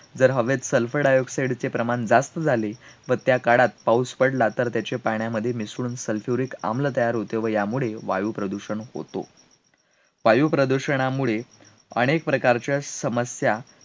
जर हवेत sulfur dioxide चे प्रमाण जास्त झाले, व त्या काळात पाऊस पडला तर त्याचे पाण्यामध्ये मिसळून sulphuric आम्ल तयार होते, व यामुळे वायुप्रदूषण होतो, वायुप्रदूषणामुळे आणि एक प्रकारच्या समस्या